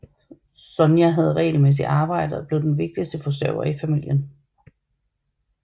Sonya havde regelmæssigt arbejde og blev den vigtigste forsørger i familien